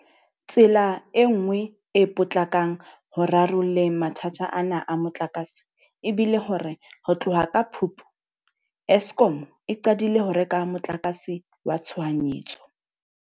Tsela e nngwe e potlakang ho rarolleng mathata ana a motlakase e bile hore ho tloha ka Phupu, Eskom e qadile ho reka motlakase wa tshohanyetso.